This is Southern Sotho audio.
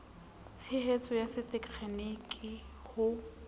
tshetso ya se tegeniki ho